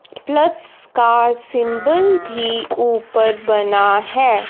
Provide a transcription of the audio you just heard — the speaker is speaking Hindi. प्लस का सिंबल भी ऊपर बना हैं।